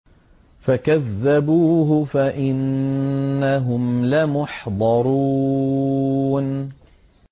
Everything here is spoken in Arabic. فَكَذَّبُوهُ فَإِنَّهُمْ لَمُحْضَرُونَ